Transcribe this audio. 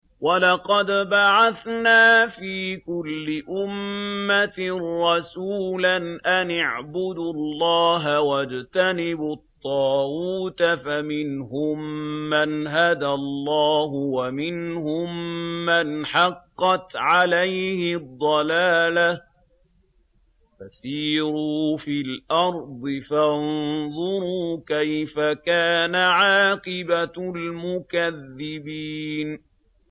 وَلَقَدْ بَعَثْنَا فِي كُلِّ أُمَّةٍ رَّسُولًا أَنِ اعْبُدُوا اللَّهَ وَاجْتَنِبُوا الطَّاغُوتَ ۖ فَمِنْهُم مَّنْ هَدَى اللَّهُ وَمِنْهُم مَّنْ حَقَّتْ عَلَيْهِ الضَّلَالَةُ ۚ فَسِيرُوا فِي الْأَرْضِ فَانظُرُوا كَيْفَ كَانَ عَاقِبَةُ الْمُكَذِّبِينَ